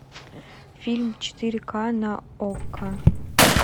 фильм четыре к на окко